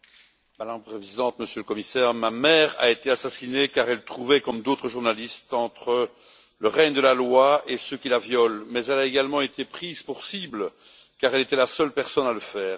Madame la Présidente, Monsieur le Commissaire, ma mère a été assassinée, car elle se trouvait, comme d'autres journalistes, entre le règne de la loi et ceux qui la violent, mais elle a également été prise pour cible, car elle était la seule personne à le faire.